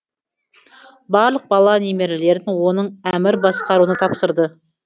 барлық бала немерелерін оның әмір басқаруына тапсырды